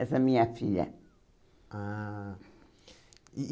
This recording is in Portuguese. Essa minha filha. Ah